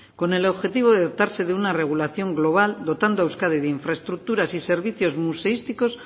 con el objetivo de dotarse de una regulación global dotando a euskadi de infraestructuras y servicios museísticos